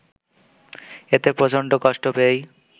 এতে প্রচণ্ড কষ্ট পেয়েই